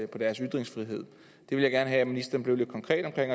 deres ytringsfrihed jeg vil gerne have at ministeren bliver lidt konkret omkring